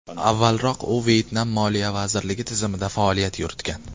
Avvalroq u Vyetnam Moliya vazirligi tizimida faoliyat yuritgan.